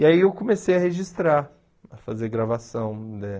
E aí eu comecei a registrar, a fazer gravação eh.